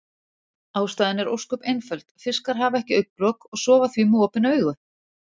Ástæðan er ósköp einföld, fiskar hafa ekki augnlok og sofa því með opin augu.